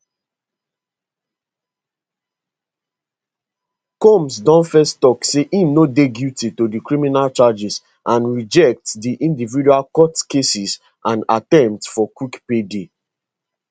combs don first tok say im no dey guilty to di criminal charges and reject di individual court cases and attempt for quick payday